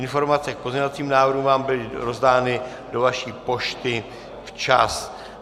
Informace k pozměňovacím návrhům vám byly rozdány do vaší pošty včas.